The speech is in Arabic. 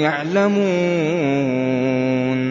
يَعْلَمُونَ